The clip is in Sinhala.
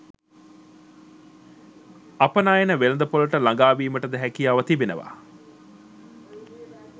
අපනයන වෙළෙඳ‍පොළට ළඟා වීමටද හැකියාව තිබෙනවා.